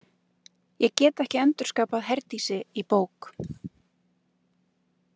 Ég get ekki endurskapað Herdísi í bók.